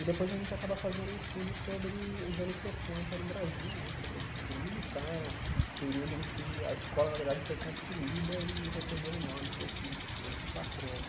E depois a gente acaba fazendo um estudo sobre os anos sessenta no Brasil né, sobre a ditadura militar, o período em que a escola, na verdade, foi construída e recebeu o nome desse desse patrono.